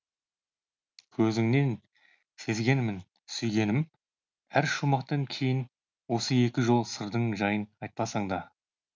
көзіңнен сезгенмін сүйгенім әр шумақтан кейін осы екі жол сырдың жайын айтпасаңда